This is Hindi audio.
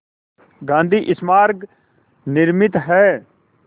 गांधी स्मारक निर्मित है